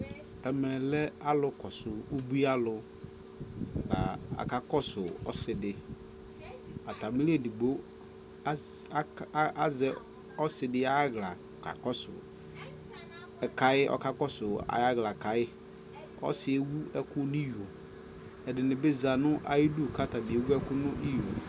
ɛmɛ lɛ alʋ kɔsʋ ʋbʋi alʋ, aka kɔsʋ ɔsiidi, atami li ɛdigbɔ azɛ ɔsiidi ayiala kʋ ɔkakɔsʋ kai ɔkakɔsʋ ayi ala kayi, ɔsiiɛ ɛwʋ ɛkʋ nʋ iyɔɔ, ɛdini bi zati nʋ ayidʋ kʋ atabi ɛwʋ ɛkʋ nʋ iyɔɔ